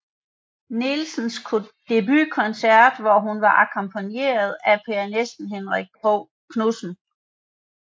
Nielsens debutkoncert hvor hun var akkompagneret af pianisten Henrik Knudsen